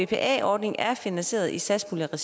bpa ordningen er finansieret i satspuljeregi